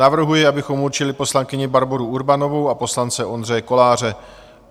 Navrhuji, abychom určili poslankyni Barboru Urbanovou a poslance Ondřeje Koláře.